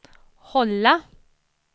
hålla